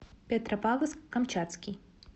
петропавловск камчатский